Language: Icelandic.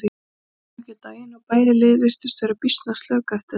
Það kom þó ekki á daginn og bæði lið virtust vera býsna slök eftir þetta.